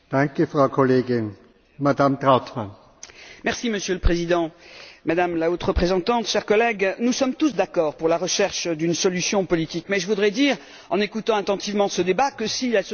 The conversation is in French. Monsieur le Président, Madame la Haute représentante, chers collègues, nous sommes tous d'accord pour rechercher une solution politique, mais je voudrais dire après avoir écouté attentivement ce débat que si la solution politique avait été possible avant, elle aurait été mise en œuvre.